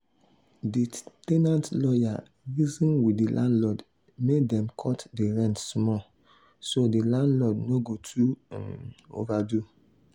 the ten ant lawyer reason with the landlord make dem cut the rent small so the landlord no go too overdo